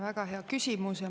Väga hea küsimus.